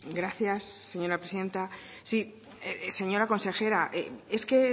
gracias señora presidenta sí señora consejera es que